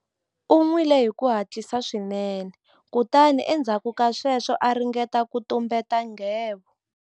U nwile hi ku hatlisa swinene kutani endzhaku ka sweswo a ringeta ku tumbeta nghevo.